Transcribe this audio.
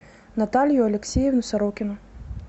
наталью алексеевну сорокину